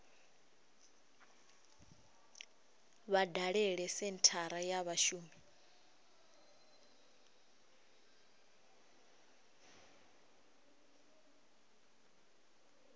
vha dalele senthara ya vhashumi